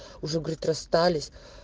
уже говорит расстались